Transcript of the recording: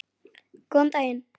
Góðan daginn.